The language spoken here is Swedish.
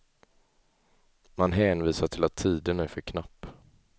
Man hänvisar till att tiden är för knapp.